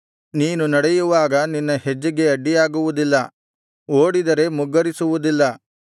ನೀನು ನಡೆಯುವಾಗ ನಿನ್ನ ಹೆಜ್ಜೆಗೆ ಅಡ್ಡಿಯಾಗುವುದಿಲ್ಲ ಓಡಿದರೆ ಮುಗ್ಗರಿಸುವುದಿಲ್ಲ